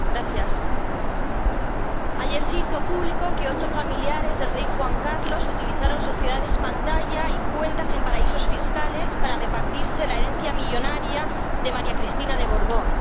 Señora Presidenta, ayer se hizo público que ocho familiares del rey Juan Carlos utilizaron sociedades pantalla y cuentas en paraísos fiscales para repartirse la herencia millonaria de María Cristina de Borbón.